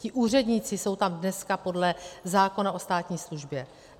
Ti úředníci jsou tam dneska podle zákona o státní službě.